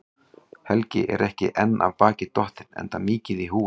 Helgi er ekki enn af baki dottinn, enda mikið í húfi.